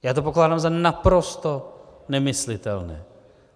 Já to pokládám za naprosto nemyslitelné.